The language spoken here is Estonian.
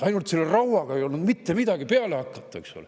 Ainult selle rauaga ei olnud mitte midagi peale hakata.